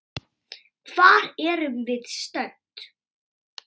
Hvar erum við stödd?